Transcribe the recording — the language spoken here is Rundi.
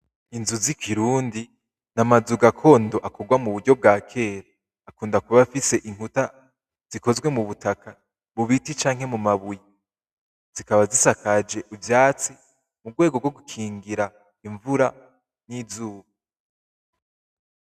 Inzu z'ikirundi , ni amazu gakondo akorwa mu buryo bwa kera , akunda kuba afise inkuta zikozwe mu butaka, mu biti canke mu mabuye, zikaba zisakaje ivyatsi mu rwego rwo gukingira imvura n'izuba.